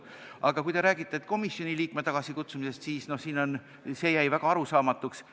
Aga kui te räägite komisjoni liikme tagasikutsumisest, siis see jäi väga arusaamatuks.